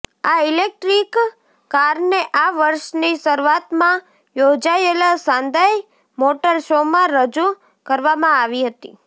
આ ઇલેક્ટ્રિક કારને આ વર્ષની શરૂઆતમાં યોજાયેલા શાંઘાઈ મોટર શોમાં રજૂ કરવામાં આવી હતી